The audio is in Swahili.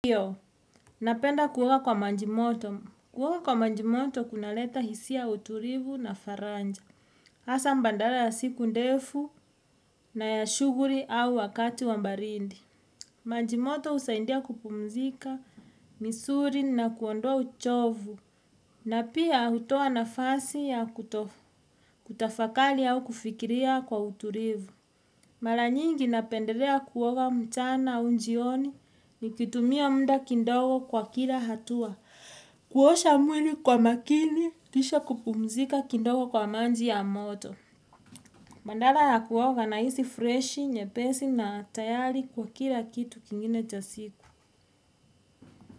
Ndiyo, napenda kuoga kwa maji moto. Kuoga kwa maji moto kuna leta hisia ya utulivu na faraja. Hasa badala ya siku ndefu na ya shughuli au wakati wa baridi. Maji moto husaindia kupumzika, misuli na kuondoa uchovu. Na pia hutoa nafasi ya kutafakari au kufikiria kwa utulivu. Mara nyingi napendelea kuoga mchana au jioni nikitumia muda kidongo kwa kila hatua. Kuosha mwili kwa makini, kisha kupumzika kidongo kwa maji ya moto. Bandala ya kuoga nahisi freshi, nyepeshi na tayari kwa kila kitu kingine cha siku.